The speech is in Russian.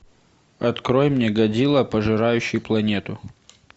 открой мне годзилла пожирающий планету